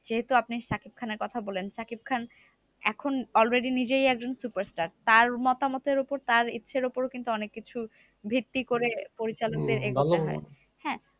যেহেতু আপনি সাকিব খানের কথা বললেন, সাকিব খান এখন already নিজেও একজন superstar. তার মতামতের উপর তার ইচ্ছের উপর কিন্তু অনেককিছু ভিত্তি করে পরিচালকদের এগোতে হয়।